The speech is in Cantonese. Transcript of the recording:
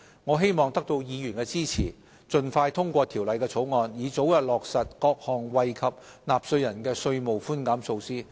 我希望得到議員支持，盡快通過《條例草案》，以早日落實各項惠及納稅人的稅務寬減措施。